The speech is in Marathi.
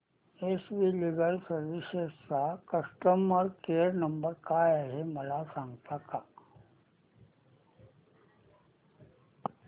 एस वी लीगल सर्विसेस चा कस्टमर केयर नंबर काय आहे मला सांगता का